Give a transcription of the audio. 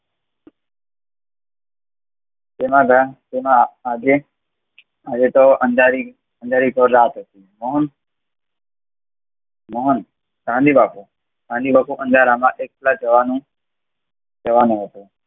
તેના ધ્યાન તેનો અગ્રણ હવે તો અંધારી તો રાત હતી પણ ગાંધી બાપુ અંધારામાં એકલા જવાનું કહેવાનો હતો